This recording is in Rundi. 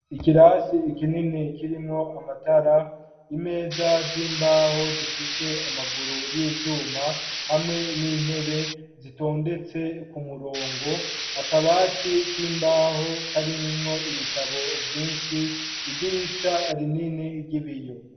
Ikirasi kinini, kirimwo amatara; imeza z'imbaho, zifise amaguru y'ivyuma, hamwe n'intebe, zitondetse ku murongo; akabati, k'imbaho; karimwo ibitabo, vyinshi; idirisha rinini, ry'ibiyo.